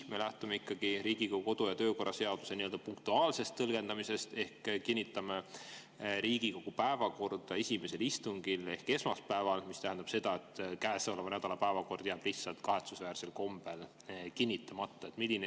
Või me lähtume ikkagi Riigikogu kodu- ja töökorra seaduse punktuaalsest tõlgendamisest ja kinnitame Riigikogu päevakorda esimesel istungil ehk esmaspäeval, mis tähendab seda, et käesoleva nädala päevakord jääb lihtsalt kahetsusväärsel kombel kinnitamata?